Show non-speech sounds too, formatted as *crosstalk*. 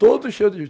Todo cheio de *unintelligible*